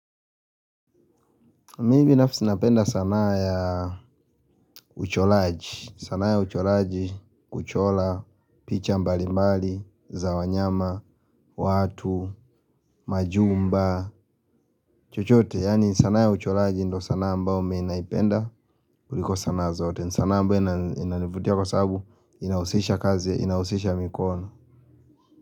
Mimi nafsi napenda sanaa ya uchoraji. Sanaa ya uchoraji, kuchora, picha mbali mbali, za wanyama, watu, majumba, chochote. Yaani sanaa ya uchoraji ndo sanaa ambao mimi naipenda kuliko sanaa zote. Sanaa ambao inanivutia kwa sababu inahusisha kazi, inahusisha mikono.